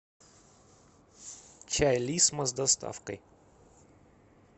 чай лисма с доставкой